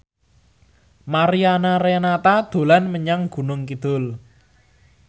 Mariana Renata dolan menyang Gunung Kidul